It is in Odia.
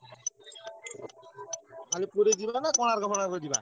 ଖାଲି ପୁରୀ ଯିବା ନା କୋଣାର୍କ ଫୋଣାର୍କ ଯିବା?